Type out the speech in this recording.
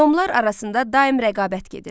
Nomlar arasında daim rəqabət gedirdi.